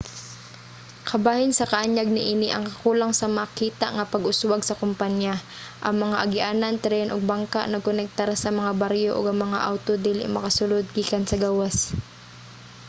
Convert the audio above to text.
kabahin sa kaanyag niini ang kakulang sa makita nga pag-uswag sa kompaniya. ang mga agianan tren ug bangka nagkonektar sa mga baryo ug ang mga awto dili makasulod gikan sa gawas